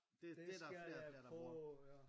Det skal jeg prøve ja